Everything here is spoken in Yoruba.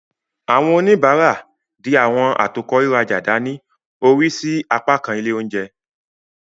Awọn onibara, dì awọn atokọ riraja dani, orin sí apakan ile oúnjẹ.